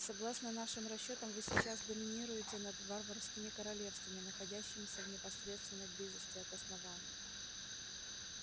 согласно нашим расчётам вы сейчас доминируете над варварскими королевствами находящимися в непосредственной близости от основания